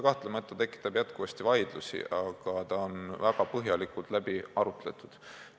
Kahtlemata see tekitab jätkuvasti vaidlusi, aga ta on väga põhjalikult läbi arutatud.